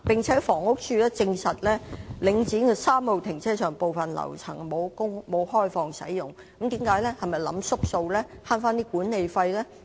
此外，房屋署證實，領展逸東3號停車場部分樓層並沒有開放使用，這是否打小算盤，想節省管理費呢？